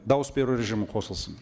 дауыс беру режимі қосылсын